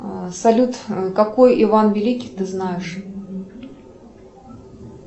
салют какой иван великий ты знаешь